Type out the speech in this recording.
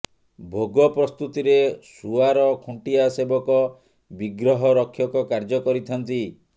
ଭୋଗ ପ୍ରସ୍ତୁତିରେ ସୁଆର ଖୁଣ୍ଟିଆ ସେବକ ବିଗ୍ରହ ରକ୍ଷକ କାର୍ଯ୍ୟ କରିଥାନ୍ତି